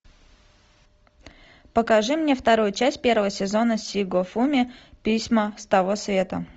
покажи мне вторую часть первого сезона сигофуми письма с того света